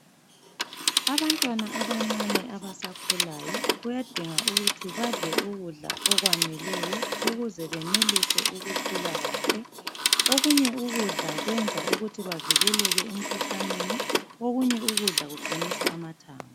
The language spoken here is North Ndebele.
Abantwana abancane abasakhulayo kuyadinga ukuthi badle ukudla okwaneleyo ukuze benelise ukukhula kahle okunye ukudla kwenza ukuthi bavikeleke emikhuhlaneni okunye ukudla kuqinisa amathambo.